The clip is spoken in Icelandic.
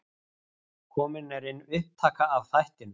Komin er inn upptaka af þættinum.